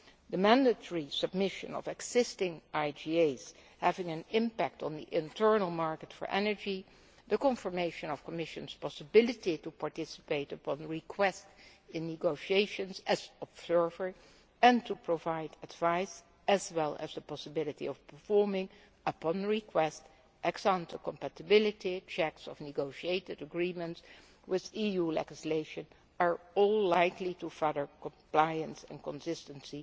The mandatory submission of existing IGAs having an impact on the internal market for energy, the confirmation that the Commission has the possibility to participate upon request in negotiations as an observer and to provide advice, as well as the possibility of performing, upon request, ex ante compatibility checks of negotiated agreements with EU legislation, are all likely to further compliance and consistency